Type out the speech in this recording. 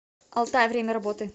алтай время работы